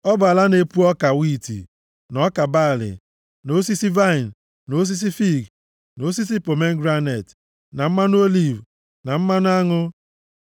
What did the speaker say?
ọ bụ ala na-epu ọka wiiti na ọka balị, na osisi vaịnị, na osisi fiig, na osisi pomegranet, na mmanụ oliv, na mmanụ aṅụ.